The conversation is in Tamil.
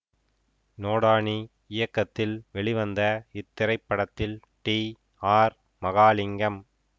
நோடானி இயக்கத்தில் வெளிவந்த இத்திரைப்படத்தில் டி ஆர் மகாலிங்கம்